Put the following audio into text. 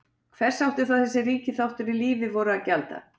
Hvers átti þá þessi ríki þáttur í lífi voru að gjalda?